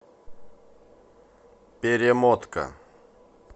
перемотка